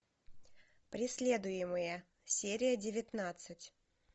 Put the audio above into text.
преследуемые серия девятнадцать